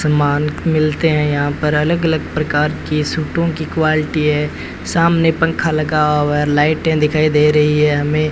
समान मिलते हैं यहां पर अलग अलग प्रकार की सूटों की क्वालिटी है सामने पंखा लगा हुआ है और लाइटें दिखाई दे रही है हमें --